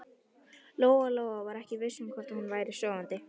Lóa-Lóa var ekki viss um hvort hún væri sofandi.